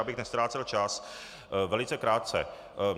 Abych neztrácel čas, velice krátce.